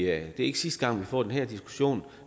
er ikke sidste gang vi får den her diskussion